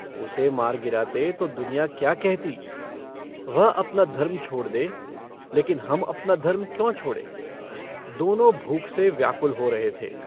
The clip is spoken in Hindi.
उसे मार गिराते तो दुनिया क्या कहती वह अपना धर्म छोड़ दे लेकिन हम अपना धर्म क्यों छोड़ें दोनों भूख से व्याकुल हो रहे थे।